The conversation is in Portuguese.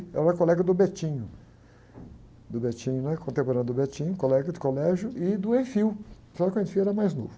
Eu era colega do. Do, né? Contemporâneo do, colega de colégio e do, só que o era mais novo.